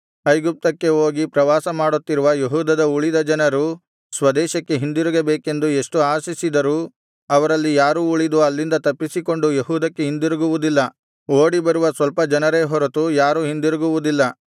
ಐಗುಪ್ತಕ್ಕೆ ಹೋಗಿ ಪ್ರವಾಸ ಮಾಡುತ್ತಿರುವ ಯೆಹೂದದ ಉಳಿದ ಜನರು ಸ್ವದೇಶಕ್ಕೆ ಹಿಂದಿರುಗಬೇಕೆಂದು ಎಷ್ಟು ಆಶಿಸಿದರೂ ಅವರಲ್ಲಿ ಯಾರೂ ಉಳಿದು ಅಲ್ಲಿಂದ ತಪ್ಪಿಸಿಕೊಂಡು ಯೆಹೂದಕ್ಕೆ ಹಿಂದಿರುಗುವುದಿಲ್ಲ ಓಡಿಬರುವ ಸ್ವಲ್ಪ ಜನರೇ ಹೊರತು ಯಾರೂ ಹಿಂದಿರುಗುವುದಿಲ್ಲ